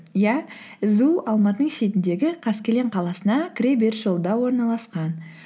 иә сду алматының шетіндегі қаскелең қаласына кіре беріс жолында орналасқан